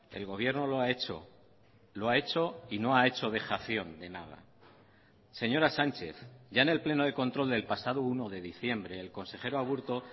el gobierno lo ha hecho lo ha hecho y no ha hecho dejación de nada señora sánchez ya en el pleno de control del pasado uno de diciembre el consejero aburto